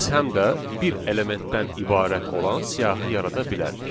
Biz həm də bir elementdən ibarət olan siyahı yarada bilərik.